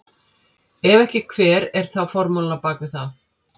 Ef ekki hver er þá formúlan á bak við það?